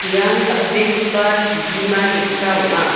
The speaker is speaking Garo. ian dal·begipa chibima ge·sa ong·a.